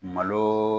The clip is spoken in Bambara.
Malo